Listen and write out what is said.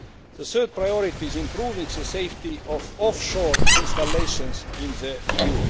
The third priority is improving the safety of offshore installations in